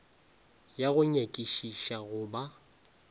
ya go nyakišiša go ba